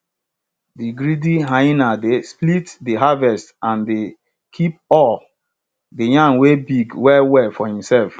de greedy hyena dey split de harvest and dey keep all de yam wey big well well for himself